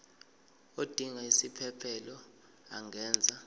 odinga isiphesphelo angenza